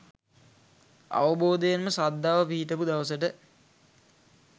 අවබෝධයෙන්ම ශ්‍රද්ධාව පිහිටපු දවසට